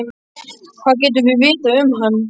Hvað getum við vitað um hann?